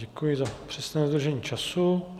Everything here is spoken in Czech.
Děkuji za přesné dodržení času.